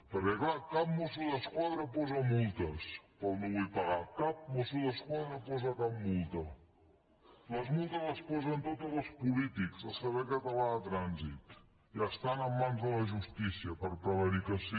perquè clar cap mosso d’esquadra posa multes pel no vull pagar cap mosso d’esquadra posa cap multa les multes les posen totes els polítics el servei català de trànsit i estan en mans de la justícia per prevaricació